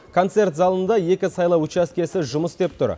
концерт залында екі сайлау учаскесі жұмыс істеп тұр